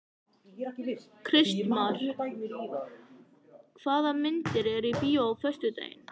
Kristmar, hvaða myndir eru í bíó á föstudaginn?